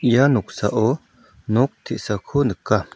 ia noksao nok te·sako nika.